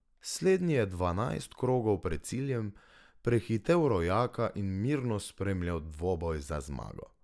Slednji je dvanajst krogov pred ciljem prehitel rojaka in mirno spremljal dvoboj za zmago.